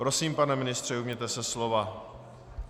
Prosím, pane ministře, ujměte se slova.